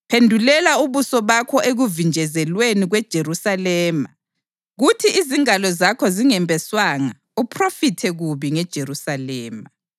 Phendulela ubuso bakho ekuvinjezelweni kweJerusalema kuthi izingalo zakho zingembeswanga uphrofithe kubi ngeJerusalema.